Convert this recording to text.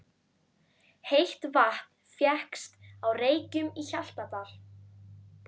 Heitt vatn fékkst á Reykjum í Hjaltadal.